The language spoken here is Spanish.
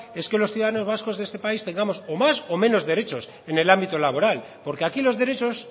es que los ciudadanos vascos de esta país tengamos o más o menos derechos en el ámbito laboral porque aquí los derechos